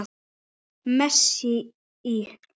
Messa íl.